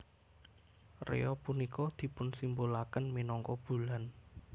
Rea punika dipunsimbolaken minangka bulan